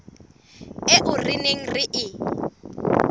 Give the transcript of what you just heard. eo re neng re e